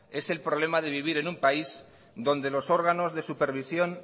es el problema de vivir en un país donde los órganos de supervisión